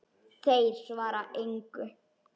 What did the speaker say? Þeir svara engu.